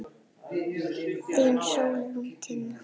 Þín Sólrún Tinna.